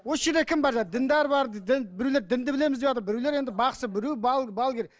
осы жерде кім бар жаңағы діндар бар дін біреулер дінді білеміз деватыр біреулер енді бақсы біреулер балгер